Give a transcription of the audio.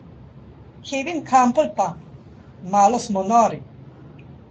Kevin Kampl pa: "Malo smo nori.